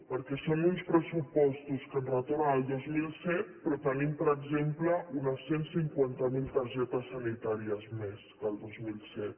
perquè són uns pressupostos que ens retornen al dos mil set però tenim per exemple unes cent i cinquanta miler targetes sanitàries més que el dos mil set